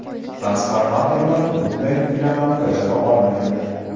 Transformatorlar bunday yuklamani bajara olmaydi.